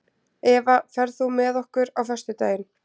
Eva, ferð þú með okkur á föstudaginn?